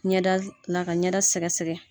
Ɲɛda la, ka ɲɛda sɛgɛsɛgɛ